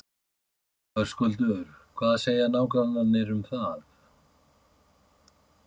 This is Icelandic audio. Höskuldur: Hvað segja nágrannarnir um það?